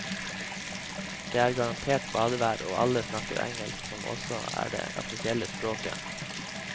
Der er det garantert badevær, og alle snakker engelsk som også er det offisielle språket.